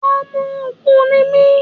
Ọmọ Ògun ni mí.